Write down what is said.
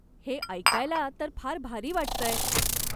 हे ऐकायला तर फार भारी वाटतंय.